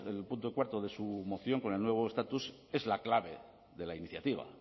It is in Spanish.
en el punto cuarto de su moción con el nuevo estatus es la clave de la iniciativa